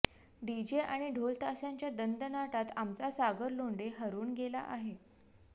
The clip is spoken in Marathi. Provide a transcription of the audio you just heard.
डीजे आणि ढोलताशांच्या दणदणाटात आमचा सागर लोंढे हरवून गेला आहे